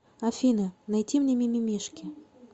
афина найти мне мимимишки